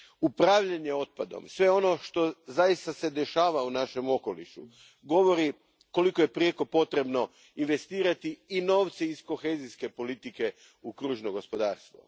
Upravljanje otpadom, sve ono što se zaista dešava u našem okolišu, govori koliko je prijeko potrebno investirati i novce iz kohezijske politike u kružno gospodarstvo.